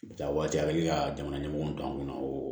Bɛ taa waati a bɛ ka jamana ɲɛmɔgɔw to an kɔnɔ o